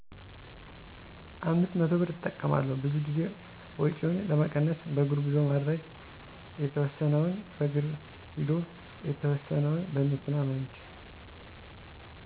500ብር እጠቀማለሁ፣ ብዙ ጊዜ ወጭውን ለመቀነስ በእግር ጉዞ ማድረግ፣ የተወሰነውን በእግር ሂዶ የተወሰነውን በመኪና መሄድ።